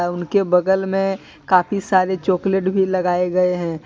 और उनके बगल में काफी सारे चोकलेट भी लगाये गये हैं।